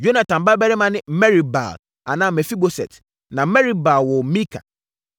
Yonatan babarima ne: Merib-Baal (anaa Mefiboset) na Merib-Baal woo Mika.